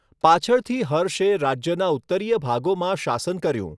પાછળથી હર્ષે રાજ્યના ઉત્તરીય ભાગોમાં શાસન કર્યું.